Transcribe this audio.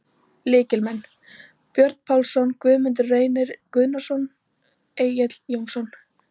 Lykilmenn: Björn Pálsson, Guðmundur Reynir Gunnarsson, Egill Jónsson.